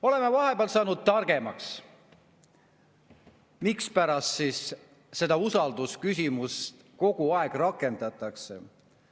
Oleme vahepeal saanud targemaks, mispärast siis seda usaldusküsimust kogu aeg rakendatakse.